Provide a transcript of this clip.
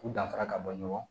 U danfara ka bɔ ɲɔgɔn